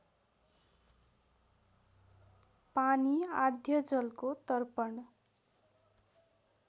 पानी आद्यजलको तर्पण